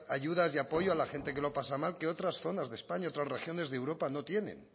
ayudas y apoyo a la gente que lo pasa mal que otras zonas de españa otras regiones de europa no tienen